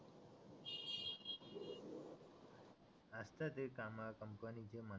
असं ते कामा कंपनीचे म्हणा